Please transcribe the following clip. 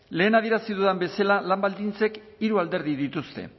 lehen adierazi dudan bezala lan baldintzek hiru alderdi dituzte